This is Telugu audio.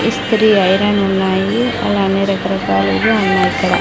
ఇస్త్రీ ఐరన్ ఉన్నాయి అలానే రకరకాలుగా ఉన్నాయిక్కడ.